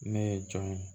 Ne ye jɔn ye